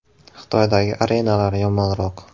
Xitoydagi arenalar yomonroq.